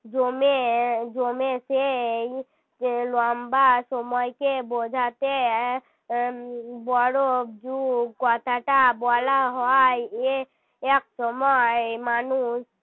জমে জমেছে এই লম্বা সময়কে বোঝাতে এক বড় যুগ কথাটা বলা হয় এ একসময় মানুষ